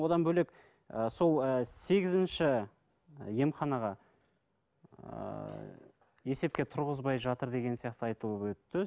одан бөлек ы сол ы сегізінші емханаға ыыы есепке тұрғызбай жатыр деген сияқты айтылып өтті